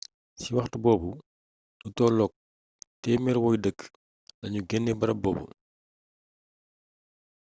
ca waxtu boobu lu tolloog 100 woy dëkk lanu genee barab boobu